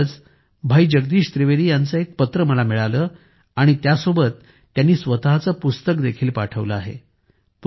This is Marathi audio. नुकतेच भाई जगदीश त्रिवेदी यांचे एक पत्र मला मिळाले आणि त्यासोबत त्यांनी स्वतःचे पुस्तक देखील पाठवले आहे